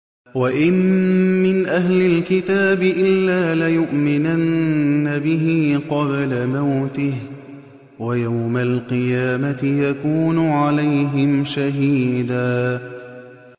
وَإِن مِّنْ أَهْلِ الْكِتَابِ إِلَّا لَيُؤْمِنَنَّ بِهِ قَبْلَ مَوْتِهِ ۖ وَيَوْمَ الْقِيَامَةِ يَكُونُ عَلَيْهِمْ شَهِيدًا